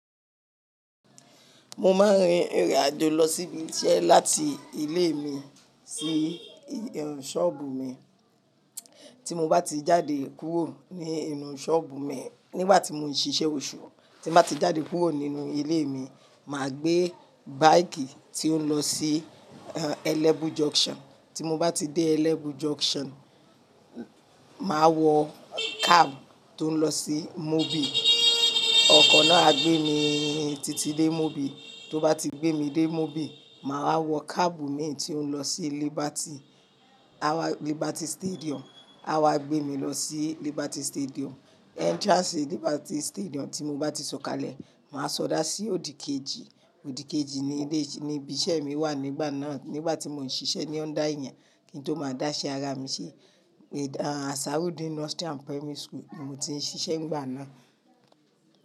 Mo máa ń rìn ìrìn àjò lọ sí ibi iṣẹ́ láti ilé mi sí inú ṣọ́ọ̀bù mi. Tí mo bá ti jáde kúrò ní inú ṣọ́ọ̀bù mi nígbà tí mò ń ṣiṣẹ́ oṣù, tí mo bá ti jáde kúrò nínú ilé mi, mà á gbé báikì tí ó ń lọ sí Eleven Junction. Tí mo bá ti dé Eleven Junction, mà á wọ cab tí ó ń lọ sí Mobil. Ọkọ̀ náà á gbé mi títí dé Mobil, tó bá ti gbé mi dé Mobil, mà wá wọ cab mi tí ó ń lọ sí Liberty, Liberty Stadium, a wá gbé mi lọ sí Liberty Stadium. Entrance Liberty Stadium tí mo bá ti sọ̀kalẹ̀, mà á sọdá sí òdìkejì. Òdìkejì ni ilé, níbi iṣẹ́ mi wà nígbà náà. Nígbà tí mò ń ṣiṣẹ́ ní under èèyàn kí n tó máa dá iṣẹ́ ara mi ṣe. Asarudeen Nursery and Primary School ni mo ti ń ṣiṣẹ́ nígbà náà.